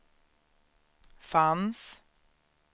fanns